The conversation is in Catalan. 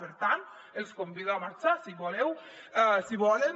per tant els convido a marxar si volen